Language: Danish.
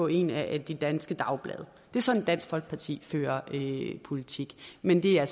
i et af de danske dagblade det er sådan dansk folkeparti fører politik men det er